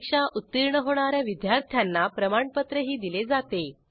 परीक्षा उत्तीर्ण होणा या विद्यार्थ्यांना प्रमाणपत्रही दिले जाते